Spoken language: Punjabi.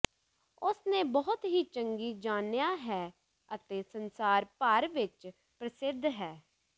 ਉਸ ਨੇ ਬਹੁਤ ਹੀ ਚੰਗੀ ਜਾਣਿਆ ਹੈ ਅਤੇ ਸੰਸਾਰ ਭਰ ਵਿੱਚ ਪ੍ਰਸਿੱਧ ਹੈ